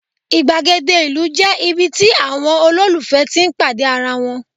igbagede ìlú je ibi tí àwọn ololufẹ tí n pàdé ara wan